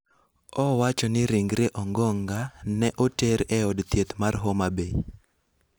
owacho ni ringre Ongonga ne oter e od thieth mar Homa Bay.